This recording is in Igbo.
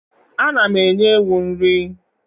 Ana m enye ewu nri.